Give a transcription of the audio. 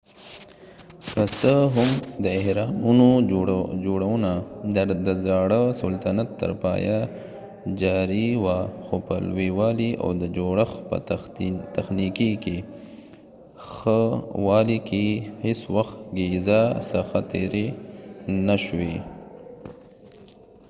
که څه هم د اهرامونو جوړونه د زاړه سلطنت تر پایه جاري وه خو په لویوالی او د جوړښت په تخنیکي ښه والی کې هیڅوخت ګیزا څخه تېری نه و شوی